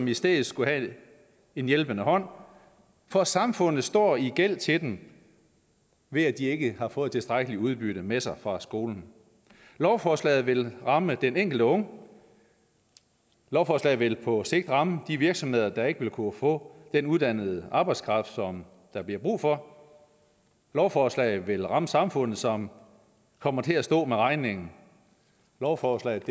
i stedet skulle have en hjælpende hånd for samfundet står i gæld til dem ved at de ikke har fået tilstrækkeligt udbytte med sig fra skolen lovforslaget vil ramme den enkelte unge lovforslaget vil på sigt ramme de virksomheder der ikke vil kunne få den uddannede arbejdskraft som der bliver brug for lovforslaget vil ramme samfundet som kommer til at stå med regningen lovforslaget